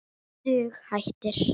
Dug hættir.